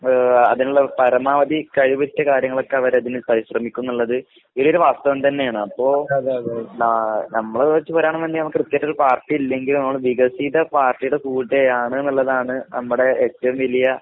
ഏഹ് അതിനിള്ള പരമാവധി കഴിവുറ്റ കാര്യങ്ങളൊക്കെ അവരതിന് ശ്ര ശ്രെമിക്കുംന്ന്ള്ളത് വലിയൊരു വാസ്തവം തന്നെയാണ്. അപ്പൊ ആഹ് നമ്മളെ വെച്ച് പറയാണ്ന്ന്ണ്ടെങ്കില് നമക്ക് കൃത്യായിട്ടൊരു പാർട്ടി ഇല്ലെങ്കിലും നമ്മള് വികസിത പാർട്ടീടെ കൂടെയാണ്ന്ന്ള്ളതാണ് അമ്മടെ ഏറ്റോം വലിയ